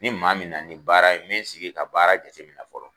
Ni maa min nana ni baara ye min sigi ka baara jate min na fɔlɔ